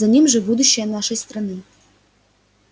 за ним же будущее нашей страны